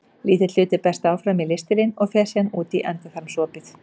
Lítill hluti berst áfram í ristilinn og fer síðan út um endaþarmsopið.